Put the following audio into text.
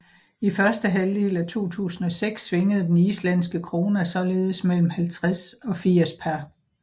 I første halvdel af 2006 svingede den islandske króna således mellem 50 og 80 pr